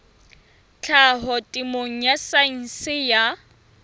tlhaho temeng ya saense ya